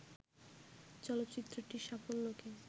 চলচ্চিত্রটির সাফল্যকে